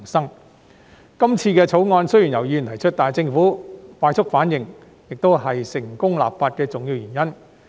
雖然這次《條例草案》由議員提出，但政府反應快速，亦是成功立法的重要原因。